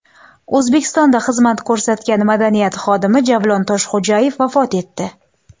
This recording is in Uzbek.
O‘zbekistonda xizmat ko‘rsatgan Madaniyat xodimi Javlon Toshxo‘jayev vafot etdi.